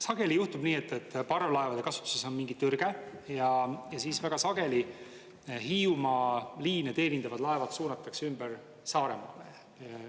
Sageli juhtub nii, et parvlaevade kasutuses on mingi tõrge ja siis väga sageli Hiiumaa liine teenindavad laevad suunatakse ümber Saaremaale.